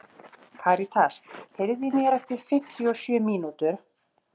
Karítas, heyrðu í mér eftir fimmtíu og sjö mínútur.